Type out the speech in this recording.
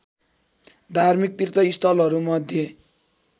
धार्मिक तीर्थस्थलहरू मध्ये